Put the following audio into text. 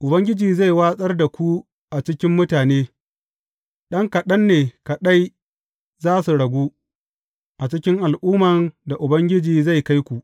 Ubangiji zai watsar da ku a cikin mutane, ɗan kaɗan ne kaɗai za su ragu a cikin al’umman da Ubangiji zai kai ku.